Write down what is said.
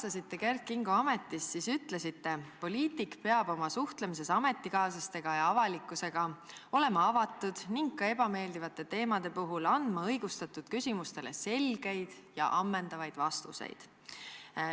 Kui te Kert Kingo ametist vabastasite, siis ütlesite: "Poliitik peab oma suhtlemises ametikaaslaste ja avalikkusega olema avatud ning ka ebameeldivate teemade puhul andma õigustatud küsimustele selgeid ja ammendavaid vastuseid.